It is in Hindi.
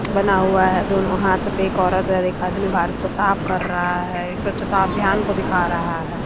बना हुआ है दोनों हाथ पे एक औरत पर एक आदमी भारत को साफ कर रहा है स्वच्छता अभियान को दिखा रहा है।